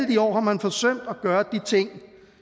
de år har man forsømt at gøre de ting